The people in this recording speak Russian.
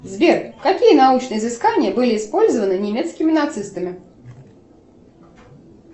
сбер какие научные изыскания были использованы немецкими нацистами